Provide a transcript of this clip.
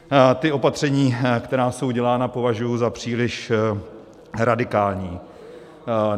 Ta opatření, která jsou dělána, považuji za příliš radikální.